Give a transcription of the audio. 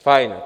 Fajn.